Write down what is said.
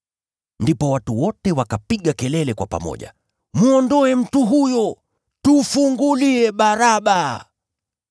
Ndipo watu wote wakapiga kelele kwa pamoja, “Mwondoe mtu huyo! Tufungulie Baraba!”